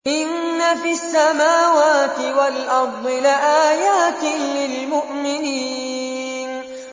إِنَّ فِي السَّمَاوَاتِ وَالْأَرْضِ لَآيَاتٍ لِّلْمُؤْمِنِينَ